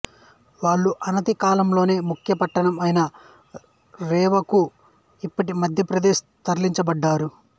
వాళ్ళు అనతి కాలంలోనే ముఖ్య పట్టణం అయిన రేవాకు ఇప్పటి మధ్యప్రదేశ్ తరలించబడ్డారు